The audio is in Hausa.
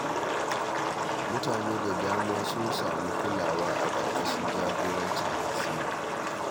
Mutane da dama sun samu kulawa a ƙarƙasahin jagorancin Hasina